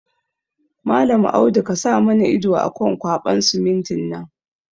Mallam Adamu kasa mana ido akan ƙwaɓan simintin nan